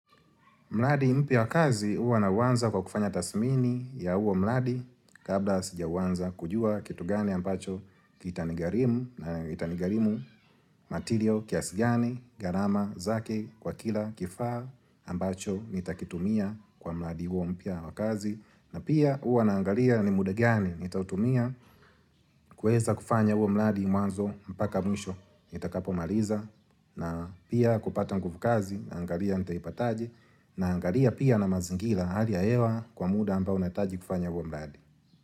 Mradi mpya wa kazi huwa nauwanza kwa kufanya tathmini ya huo mradi kabla sijauwanza kujua kitu gani ambacho kitanigharimu na kitanigharimu matirio kiasi gani gharama zake kwa kila kifaa ambacho nitakitumia kwa mradi huo mpya wa kazi. Na pia huwa naangalia ni muda gani nitautumia kuweza kufanya huo mradi mwanzo mpaka mwisho nitakapomaliza na pia kupata nguvu kazi naangalia nitaipataje naangalia pia na mazingira hali ya hewa kwa muda ambao unahitaji kufanya huo mradi.